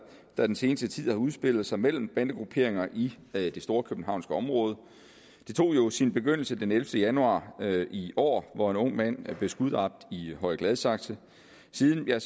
der den seneste tid har udspillet sig mellem bandegrupperinger i det storkøbenhavnske område det tog jo sin begyndelse den ellevte januar i år hvor en ung mand blev skuddræbt i høje gladsaxe siden har